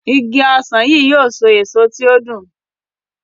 Ìgi ọsán yi yóò so èso tí o dùn.